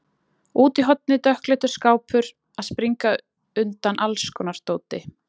Og úti í horni dökkleitur skápur að springa undan allskonar dóti.